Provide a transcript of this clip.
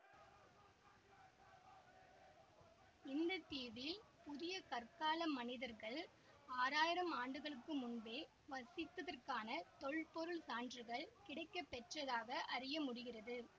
இந்த தீவில் புதிய கற்கால மனிதர்கள் ஆறாயிரம் ஆண்டுகளுக்கு முன்பே வசித்ததற்கான தொல்பொருள் சான்றுகள் கிடைக்கப்பெற்றதாக அறியமுடிகிறது